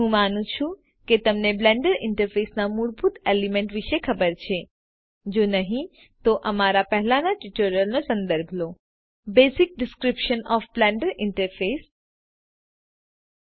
હું માનું છુ કે તમને બ્લેન્ડર ઇન્ટરફેસના મૂળભૂત એલિમેન્ટ વિષે ખબર છે જો નહિ તો અમારા પહેલાનાં ટ્યુટોરીયલનો સંદર્ભ લો બ્લેન્ડર ઈન્ટરફેસનું મૂળભૂત વર્ણન